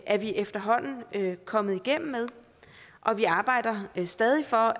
er vi efterhånden kommet igennem med og vi arbejder stadig for